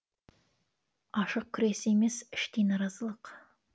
ашық күрес емес іштей наразылық